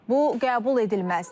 Bu qəbul edilməzdir.